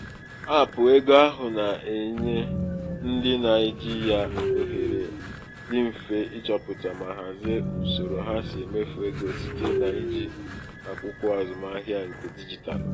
aapụ ego ahụ na-enye ndị na-eji ya ohere dị mfe ịchọpụta ma hazie usoro ha si emefu ego site n'iji akwụkwọ azụmahịa nke dijitalụ.